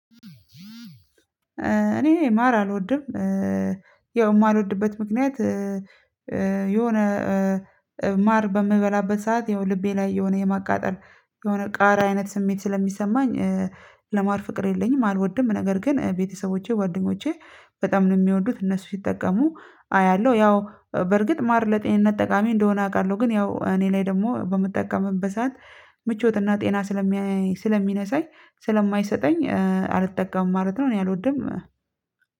እኔ ማር አልወድም ያው የማልወድበት ምክንያት የሆነ ማር በምበላበት ሰዓት ይሄው ልቤ ላይ የሆነ የማቃጠል የሆነ ቃራ አይነት ስሜት ስለሚሰማኝ ለማር ፍቅር የለኝም። አልወድም ነገር ግን ቤተሰቦቼ ጓደኞቼ በጣም ነው የሚወዱት እነሱ ሲጠቀሙ አያለሁ። ያው በርግጥ ማር ለጤንነት ጠቃሚ እንደሆነ አውቃለሁ። ግን ያው እኔ ላይ ደግሞ በምጠቀምበት ሰዓት ምቾትና ጤና ስለሚነሳኝ ስለማይሰጠኝ አልተጠቀምም ማለት ነው። እኔ አልወድም